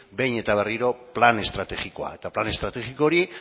behin eta berriro plan estrategikoa eta plan estrategiko hori